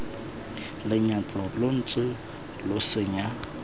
lenyatso lo ntse lo senya